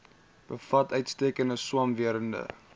bevat uitstekende swamwerende